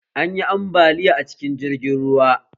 Anyi ambaliya a cikin jirgin ruwa